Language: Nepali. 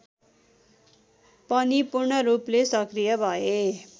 पनि पूर्णरूपले सक्रिय भए